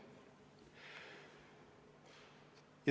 Majandustegevus on ju koondunud Tallinna kanti.